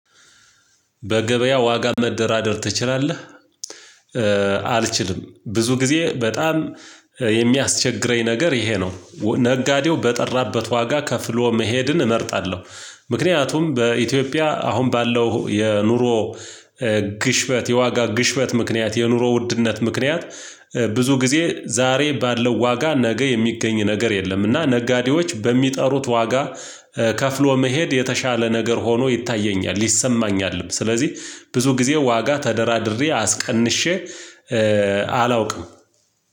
በገበያው ዋጋ መደራደር ትችላለህ? አልችልም ብዙ ጊዜ በጣም የሚያስቸግረኝ ነገር ይሄ ነው ነጋዴው በጠራበት ዋጋ ከፍሎ መሄድን እመርጣለሁ ምክንያቱም በኢትዮጵያ አሁን ባለው የኑሮ ግሽበት የዋጋ ግሽበት ምክንያት የኑሮ ውድነት ምክንያት ብዙ ጊዜ ዛሬ ባለው ዋጋ ነገ የሚገኝ ነገር የለም እና ነጋዴዎች በሚጠሩት ዋጋ ከፍሎ መሄድ የተሻለ ነገር ሆኖ ይታየኛል ይሰማኛልም ስለዚህ ብዙ ጊዜ ዋጋ ተደራድሬ አስቀንሼ አላውቅም